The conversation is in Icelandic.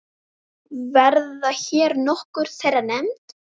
Verða hér nokkur þeirra nefnd.